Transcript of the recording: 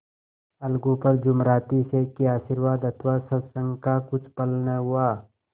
अलगू पर जुमराती शेख के आशीर्वाद अथवा सत्संग का कुछ फल न हुआ